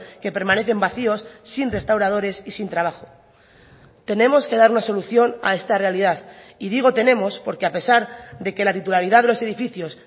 que permanecen vacíos sin restauradores y sin trabajo tenemos que dar una solución a esta realidad y digo tenemos porque a pesar de que la titularidad de los edificios